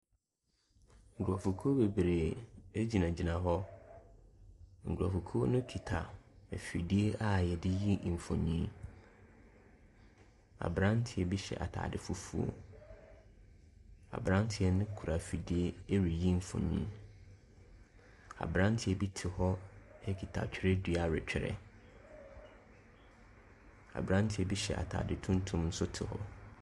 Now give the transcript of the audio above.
Nkurɔfokuo bebree gyinagyina hɔ, nkurɔfokuo no kita afidie a yɛde yi mfonini. Aberanteɛ bi hyɛ ataade fufuo, aberanteɛ no kura afidie ɛreyi mfonin. Aberanteɛ bi te hɔ kita twerɛdua retwerɛ, aberanteɛ bi hyɛ ataade tuntum nso te hɔ.